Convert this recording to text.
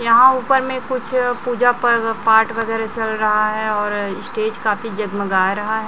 यहां ऊपर में कुछ पूजा प पाठ वगैरा चल रहा हैं और स्टेज काफी जगमगा रहा--